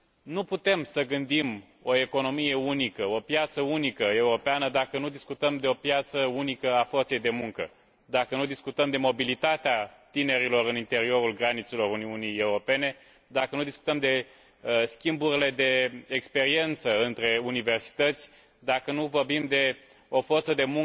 Nu putem să gândim o economie unică, o piață unică europeană, dacă nu discutăm de o piață unică a forței de muncă, dacă nu discutăm de mobilitatea tinerilor în interiorul granițelor Uniunii Europene, dacă nu discutăm de schimburile de experiență între universități, dacă nu vorbim de o forță de